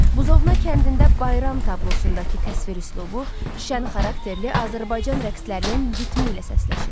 Buzovna kəndində Bayram tablosundakı təsvir üslubu şən xarakterli Azərbaycan rəqslərinin ciddiliyi ilə səsləşir.